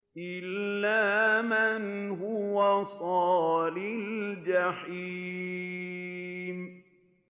إِلَّا مَنْ هُوَ صَالِ الْجَحِيمِ